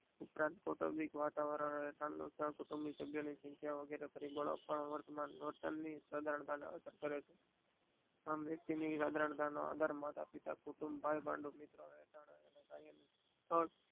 ઉપરાંત કુટુમ્બીક વાતવરણ કુટુમ્બીક સાભિયો ની સખીયા વગેરે પરિબળો વર્તમાન આમ વક્તિ નનિરાંત નો આધાર માતાપિતા કુટુંબ ભાઈ ભાડું મિત્ર